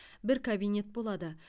бір кабинет болады